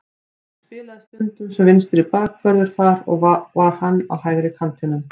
Ég spilaði stundum sem vinstri bakvörður þar og þá var hann á hægri kantinum.